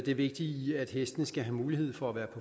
det vigtige i at hestene skal have mulighed for at være